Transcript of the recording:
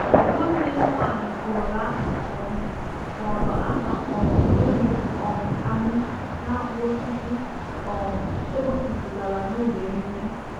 Nwanne m nwanyị kụọrọ aha um kụọrọ aha um ewu um anyị n’akpụ osisi um e gosipụtara n’oge emume.